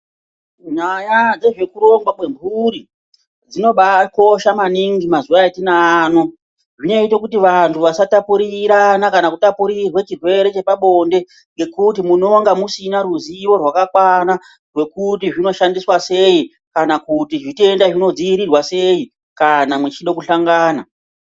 Nyaya dzezvekurongwa kwemburi dzinobakosha maningi mazuva atinaa ano zvinoita kuti vantu vasatapurira kana kutapurirwe chirwere chepabonde ngekuti munonga musina ruzivo rwakakwana rwekuti zvinoshandiswa sei kana kuti zvitenda zvinodziirirwa sei kana mechida kuhlongana.